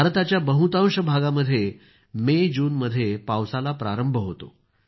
भारताच्या बहुतांश भागामध्ये मेजूनमध्ये पावसाला प्रारंभ होतो